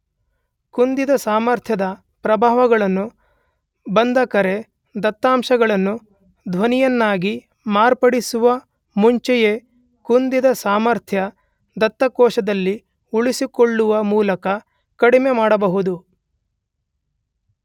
ಕುಂದಿದ ಸಾಮರ್ಥ್ಯದ ಪ್ರಭಾವಗಳನ್ನು ಬಂದ ಕರೆ ದತ್ತಾಂಶಗಳನ್ನು ಧ್ವನಿಯನ್ನಾಗಿ ಮಾರ್ಪಡಿಸುವ ಮುಂಚೆಯೇ ಕುಂದಿದ ಸಾಮರ್ಥ್ಯ ದತ್ತಕೋಶದಲ್ಲಿ ಉಳಿಸಿಕೊಳ್ಳುವ ಮೂಲಕ ಕಡಿಮೆ ಮಾಡಬಹುದು